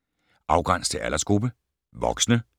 Afgræns til aldersgruppe: voksne